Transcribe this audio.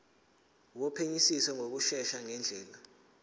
wophenyisiso ngokushesha ngendlela